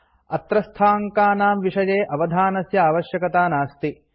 अत्रस्थाङ्कानां विषये अवधानस्य आवश्यकता नास्ति